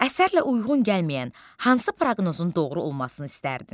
Əsərlə uyğun gəlməyən hansı proqnozun doğru olmasını istərdin?